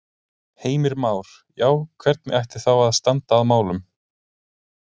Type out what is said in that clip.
Heimir Már: Já, hvernig ætti þá að standa að málum?